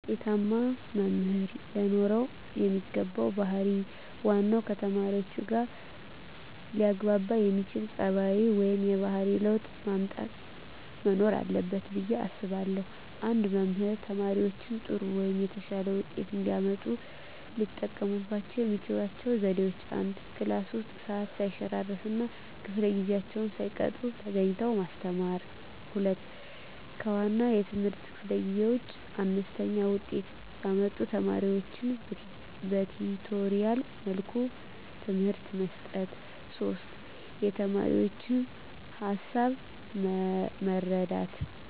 አንድ ውጤታማ መምህር ለኖረው የሚገባው ባህር ዋናው ከተማሪዎቹጋ ሊያግባባ የሚያስችል ፀባዩ ወይም የባህሪ ለውጥ ማምጣት መኖር አለበት ብየ አስባለሁ። አንድ መምህር ተማሪዎቻቸው ጥሩ ወይም የተሻለ ውጤት እንዲያመጡ ሊጠቀሙባቸው የሚችሏቸው ዘዴዎች፦ 1, ክላስ ውስጥ ሰዓት ሰይሸራርፍ እና ከፈለ ጊዜአቸውን ሳይቀጡ ተገኝተው ማስተማር። 2, ከዋና የትምህርት ክፍለ ጊዜ ውጭ አነስተኛ ውጤት ያመጡ ተማሪዎቻቸውን በቲቶሪያል መልኩ ትምህርት መስጠት። 3, የተማሪዎቻቸውን ሀሳብ መረዳት